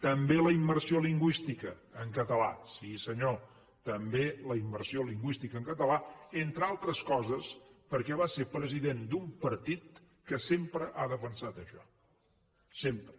també la immersió lingüística en català sí senyor també la immersió lingüística en català entre altres coses perquè va ser president d’un partit que sempre ha defensat això sempre